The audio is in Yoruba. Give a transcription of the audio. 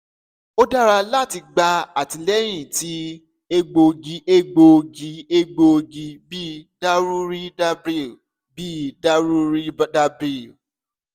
o dara lati gba atilẹyin ti egboogi egboogi egboogi bi daruhridrabbl bii daruhridrabbl